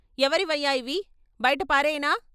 ఎవరివయ్య ఇవి, బయట పారెయ్యనా?